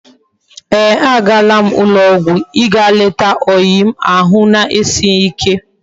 Eeh!! Agaram na ulo ogwu íga leta oyi m ahu na esighi ike